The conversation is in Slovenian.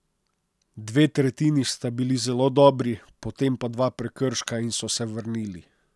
Dve tretjini sta bili zelo dobri, potem pa dva prekrška in so se vrnili.